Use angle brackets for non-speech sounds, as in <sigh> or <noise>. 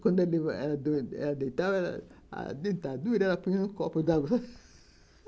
Quando ela <unintelligible> deitava, a dentadura, ela punha um copo d'água <laughs>